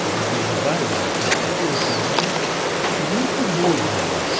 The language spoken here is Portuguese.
que era o dia do baile, da terça-feira tinha o baile, ele me intimou a ir no baile.